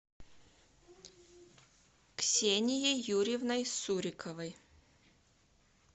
ксенией юрьевной суриковой